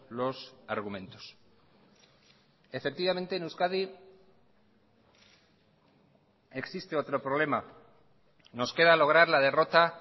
los argumentos efectivamente en euskadi existe otro problema nos queda lograr la derrota